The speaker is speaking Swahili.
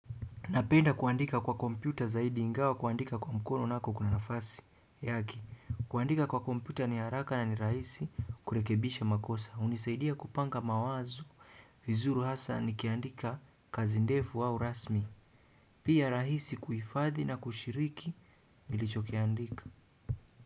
Napenda kuandika kwa kompyuta zaidi ingawa kuandika kwa mkono nako kuna nafasi. Yake, kuandika kwa kompyuta ni haraka na ni rahisi kurekebisha makosa. Hunisaidia kupanga mawazo. Vizuri hasa nikiandika kazi ndefu au rasmi. Pia rahisi kuhifadhi na kushiriki nilichokiandika.